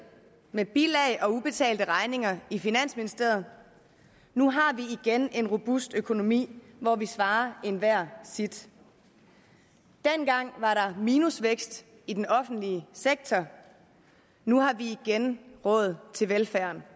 med bilag og ubetalte regninger i finansministeriet nu har vi igen en robust økonomi hvor vi svarer enhver sit dengang var der minusvækst i den offentlige sektor nu har vi igen råd til velfærden